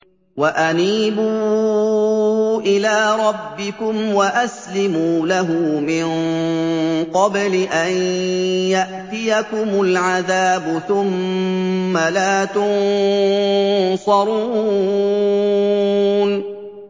وَأَنِيبُوا إِلَىٰ رَبِّكُمْ وَأَسْلِمُوا لَهُ مِن قَبْلِ أَن يَأْتِيَكُمُ الْعَذَابُ ثُمَّ لَا تُنصَرُونَ